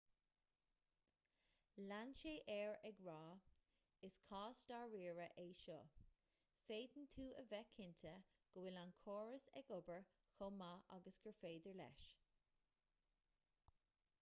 lean sé air ag rá is cás dáiríre é seo féadann tú a bheith cinnte go bhfuil an córas ag obair chomh maith agus gur féidir leis